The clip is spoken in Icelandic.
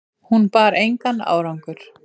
Hún bar engan árangur